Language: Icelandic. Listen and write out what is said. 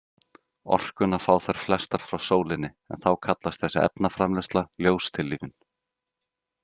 Orkuna fá þær flestar frá sólinni, en þá kallast þessi efnaframleiðsla ljóstillífun.